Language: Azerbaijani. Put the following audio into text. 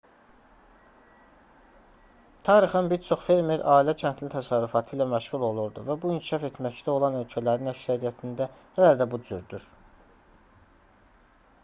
tarixən bir çox fermer ailə-kəndli təsərrüfatı ilə məşğul olurdu və bu inkişaf etməkdə olan ölkələrin əksəriyyətində hələ də bu cürdür